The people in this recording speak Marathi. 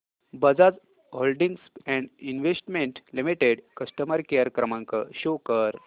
Bajaj holdings and investment limited customer care क्रमांक शो कर